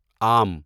آم